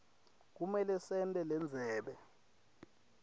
kumele sente lendzebe